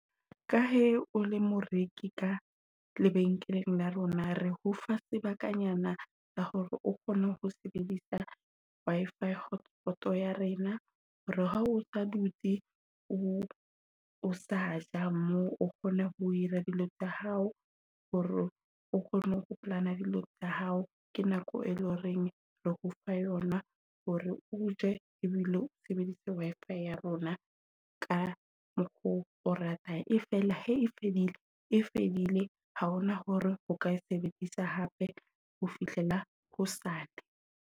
Ka he o le moreki ka lebenkeleng la rona re ho fa sebakanyana ka hore o kgone ho sebedisa Wi-fi hotspot ya rena. Hore ha o sa dutse o o sa ja moo o kgone ho dira dilo tsa hao hore o kgone ho kopanya dilo tsa hao. Ke nako e loreng re ho fa yona hore o ye ebile sebedisa Wi-fi ya rona ka mokgo o ratang. E fela hae fedile, e fedile ha hona hore o ka e sebedisa hape ho fihlela hosane.